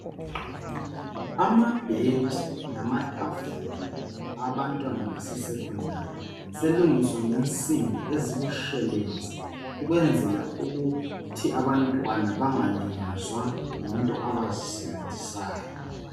Amabhentshi namatafula abantwana base secondary, selungiswa ngensimbi ezibutshelezi ukwenzela ukuthi abantwana bangalinyazwa yinto abazisebenzisayo.